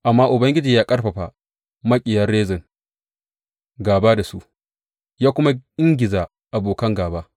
Amma Ubangiji ya ƙarfafa maƙiyan Rezin gāba da su ya kuma ingiza abokan gāba.